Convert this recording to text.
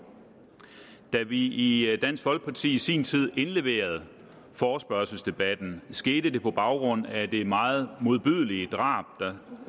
da vi i dansk folkeparti i sin tid indleverede forespørgslen skete det på baggrund af det meget modbydelige drab der